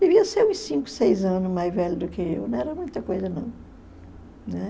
Devia ser uns cinco, seis anos mais velho do que eu, não era muita coisa, não. Né?